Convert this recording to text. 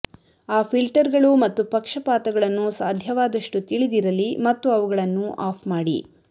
ಆ ಫಿಲ್ಟರ್ಗಳು ಮತ್ತು ಪಕ್ಷಪಾತಗಳನ್ನು ಸಾಧ್ಯವಾದಷ್ಟು ತಿಳಿದಿರಲಿ ಮತ್ತು ಅವುಗಳನ್ನು ಆಫ್ ಮಾಡಿ